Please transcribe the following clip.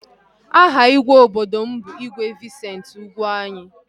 Aha igwe obodo m bụ igwe Vincent Ugwuanyi